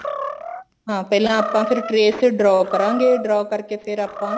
ਹਾਂ ਪਹਿਲਾਂ ਆਪਾਂ ਫ਼ੇਰ trace ਤੇ draw ਕਰਾਂਗੇ draw ਕਰਕੇ ਫ਼ੇਰ ਆਪਾਂ